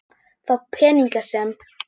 Þá peninga sem